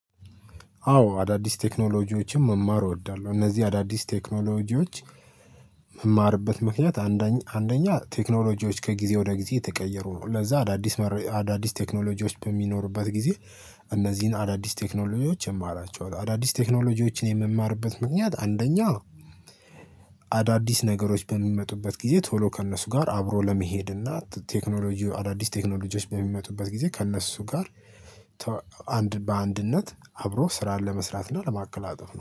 አዎ አዳዲስ ቴክኖሎጂዎችን መማር እወዳለሁ እነዚህ አዳዲስ ቴክኖሎጂዎች። ምማርበት ምክንያት አንደኛ አንደኛ ቴክኖሎጂዎች ከጊዜ ወደ ጊዜ እተቀየሩ ነው ለዛ አዳዲስ አዳዲስ ቴክኖሎጂዎች በሚኖርበት ጊዜ። እነዚህን አዳዲስ ቴክኖሎጂዎች እማራቸዋል አዳዲስ ቴክኖሎጂዎችን የምማርበት ምክንያት አንደኛ አዳዲስ ነገሮች በሚመጡበት ጊዜ ቶሎ ከእነሱ ጋር አብሮ ለመሄድ እና ቴክኖሎጂው አዳዲስ ቴክኖሎጂዎች በሚመጡበት ጊዜ ከእነሱ ጋር። አንድ በአንድነት አብሮ ስራን ለመስራት እና ለማቀላጠፍ ነው